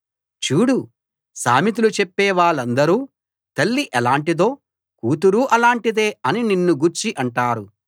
చూడు సామెతలు చెప్పేవాళ్ళందరూ తల్లి ఎలాంటిదో కూతురూ అలాంటిదే అని నిన్ను గూర్చి అంటారు